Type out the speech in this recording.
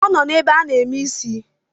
Ọ nọ n’ebe a na-eme isi